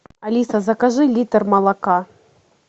алиса закажи литр молока